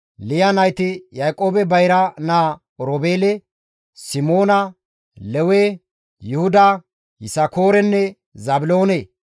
Liya nayti Yaaqoobe bayra naa Oroobeele, Simoona, Lewe, Yuhuda, Yisakoorenne Zaabiloone.